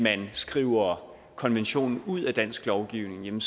man skriver konventionen ud af dansk lovgivning